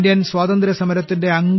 Indian സ്വാതന്ത്ര്യ സമരത്തിന്റെ